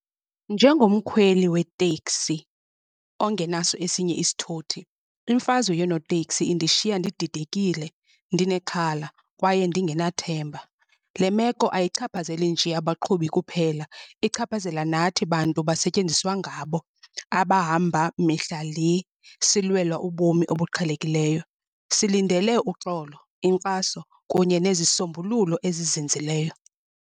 Njengomkhweli weteksi ongenaso esinye isithuthi imfazwe yonooteksi indishiya ndididekile, ndinexhala kwaye ndingenathemba. Le meko ayichaphazeli nje abaqhubi kuphela, ichaphazela nathi bantu basetyenziswa ngabo. Abahamba mihla le silwela ubomi obuqhelekileyo. Silindele uxolo, inkxaso kunye nezisombululo ezizinzileyo.